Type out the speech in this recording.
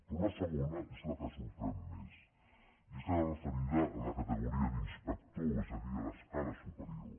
però la segona és la que sorprèn més i és la referida a la categoria d’ins·pector és a dir a l’escala superior